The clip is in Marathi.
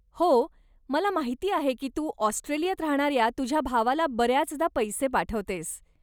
हो, मला माहिती आहे की तू ऑस्ट्रेलियात राहणाऱ्या तुझ्या भावाला बऱ्याचदा पैसे पाठवतेस.